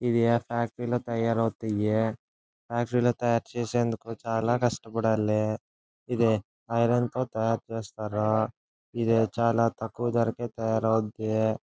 ఇది ఆ ఫ్యాక్టరీ లో తాయారు అవుతాయి. ఇది ఫ్యాక్టరీ లో తయారీ చేసే అందుకు చాల కష్టపడాలి. ఇది ఐరన్ తో తాయారు చేస్తారు. ఇది చాల తక్కువ ధరకే తాయారు అవుద్ది.